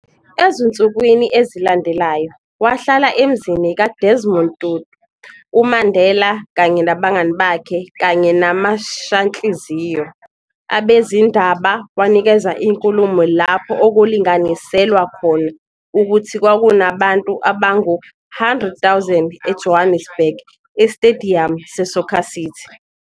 Ezinsukwini ezilandelayo, wahlala emzini ka-Desmond Tutu, uMandela kanye nabangani bakhe kanye namashanhliziyo, abezindaba, wanikeza inkulumo lapho okulinganiselwa khona ukuthi kwakunabantu abangu 100 000 eJohannesburg, esitediyamu se-Soccer City.